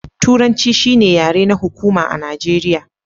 Turanci shi ne yare na hukuma a Nijeriya.